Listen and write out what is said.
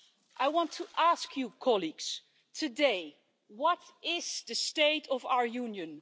I want to ask you colleagues today what is the state of our Union?